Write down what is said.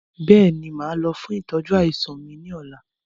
Bẹ́ẹ̀ni, máa lọ fún ìtọ́jú àìsàn mi ni ọ̀la